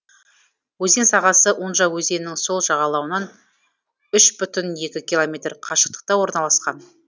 өзен сағасы унжа өзенінің сол жағалауынан үш бүтін екі километр қашықтықта орналасқан